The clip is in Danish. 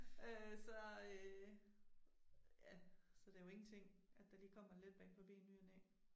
Øh så øh ja så det jo ingenting at der lige kommer en letbane forbi i ny og næ